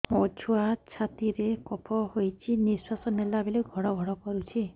ମୋ ଛୁଆ ଛାତି ରେ କଫ ହୋଇଛି ନିଶ୍ୱାସ ନେଲା ବେଳେ ଘଡ ଘଡ କରୁଛି